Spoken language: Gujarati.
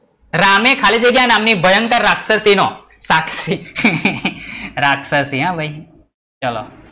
રામે ખાલી જગ્યા નામ ની ભયંકર રાક્ષસી નો શાક્ષી રાક્ષસી હો ભઈ ચલો,